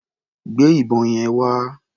Gbé ìbọn yẹn wá.